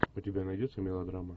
у тебя найдется мелодрама